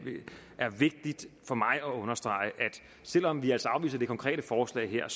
er vigtigt for mig at understrege at selv om vi altså afviser det konkrete forslag her er